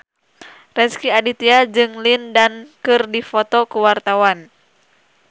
Rezky Aditya jeung Lin Dan keur dipoto ku wartawan